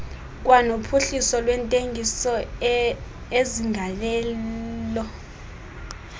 kwanophuhliso lwentengiso ezinegalelo